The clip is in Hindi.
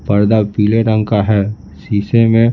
पर्दा पीले रंग का है शीशे में--